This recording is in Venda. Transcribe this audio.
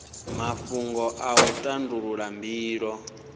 mafhungo a u tandulula mbilo